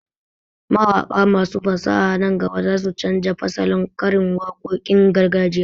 Mawaƙa masu fasaha nan gaba za su canja fasalin karin waƙoƙin gargajiya.